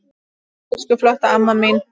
Elsku flotta amma mín.